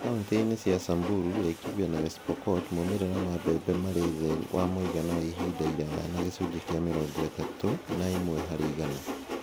Kauntĩ-inĩ cia Samburu, Laikipia, na West Pokot maumĩrĩra ma mbembe marĩ thĩ wa muigana wa ihinda iraya na gĩcunjĩ kĩa mĩrongo ĩtatũ na ĩmwe harĩ igana